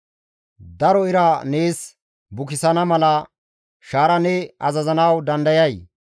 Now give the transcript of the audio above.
«Daro ira nees bukisana mala shaara ne azazanawu dandayay?